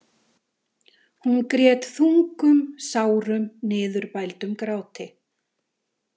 Hún grét þungum, sárum, niðurbældum gráti.